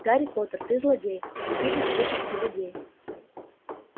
гарри поттер ты злодей убивец духов и людей